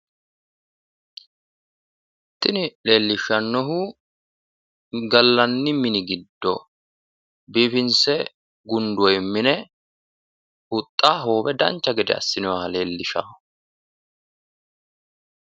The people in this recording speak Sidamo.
Tini leellishshannohu gallanni mini giddo biifinse gundoonni mine huxxa hoowe dancha gede assinoyiha leellishanno.